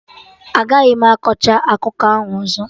Agaghị m akọcha akụkọ ahụ ọzọ!